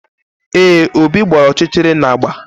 Ee, Obi gbara ọchịchịrị na agba